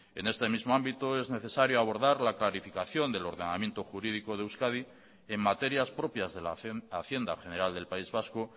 en este mismo ámbito es necesario abordar la clarificación del ordenamiento jurídico de euskadi en materias propias de la hacienda general del país vasco